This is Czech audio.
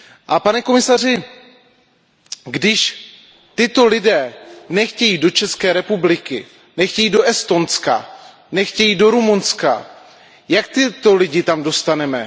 A pane komisaři, když tito lidé nechtějí do České republiky, nechtějí do Estonska, nechtějí do Rumunska, jak tyto lidi tam dostaneme?